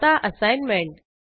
आता असाईनमेंट